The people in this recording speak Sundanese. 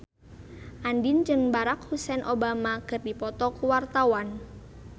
Andien jeung Barack Hussein Obama keur dipoto ku wartawan